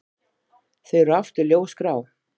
Þau eru aftur ljósgrá.